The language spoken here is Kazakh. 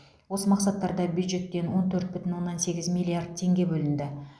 осы мақсаттарда бюджеттен он төрт бүтін оннан сегіз миллиард теңге бөлінді